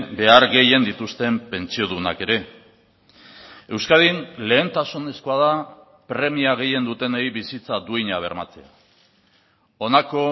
behar gehien dituzten pentsiodunak ere euskadin lehentasunezkoa da premia gehien dutenei bizitza duina bermatzea honako